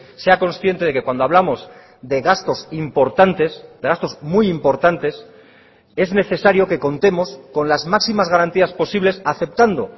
sea consciente de que cuando hablamos de gastos importantes de gastos muy importantes es necesario que contemos con las máximas garantías posibles aceptando